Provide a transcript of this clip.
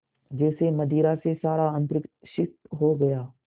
जैसे मदिरा से सारा अंतरिक्ष सिक्त हो गया